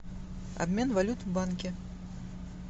обмен валют в банке